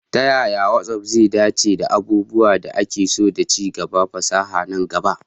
Ta yaya WhatsApp zai dace da abubuwan da ake so da ci gaban fasaha na gaba?